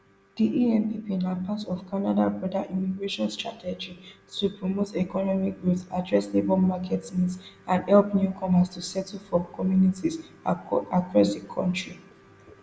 diempp na part of canada broader immigration strategyto promote economic growth address labour market needs and help newcomers to settle for communities across di kontri